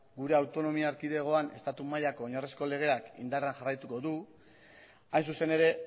gure autonomia erkidegoan estatu mailako oinarrizko legeak indarrean jarraituko du hain zuzen ere